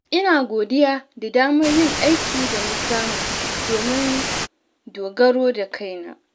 Ina godiya da damar yin aiki da na samu domin dogaro da kaina.